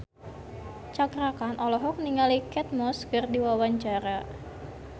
Cakra Khan olohok ningali Kate Moss keur diwawancara